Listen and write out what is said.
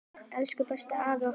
Elsku besta afa okkar.